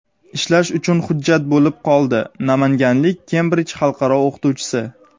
ishlash uchun hujjat bo‘lib qoldi - namanganlik Kembrij xalqaro o‘qituvchisi.